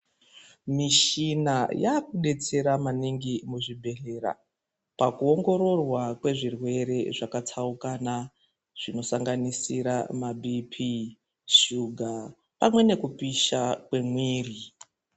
Mishima yakudetsera maningi muzvibhedhlera pakuongororwa kwezvirwere zvakatsaukana zvinosanganisira ma BP, shuga pamwe nekupisha kwemiri.